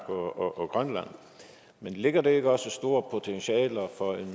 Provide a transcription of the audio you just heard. og grønland men ligger der ikke også store potentialer for